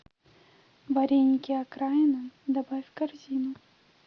вареники окраина добавь в корзину